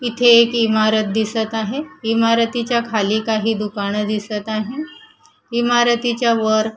इथे एक इमारत दिसत आहे इमारतीच्या खाली काही दुकानं दिसत आहे इमारतीच्या वर--